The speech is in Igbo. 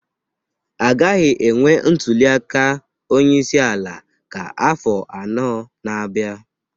agaghị enwe ntuli aka onye isi ala ka afọ anọ na-abịa